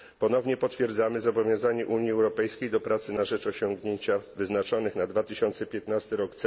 Ponownie potwierdzamy zobowiązanie Unii Europejskiej do pracy na rzecz osiągnięcia wyznaczonych na 2015 r.